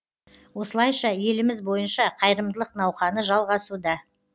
осылайша еліміз бойынша қайырымдылық науқаны жалғасуда